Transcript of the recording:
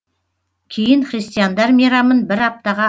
кейін христиандар мейрамын бір аптаға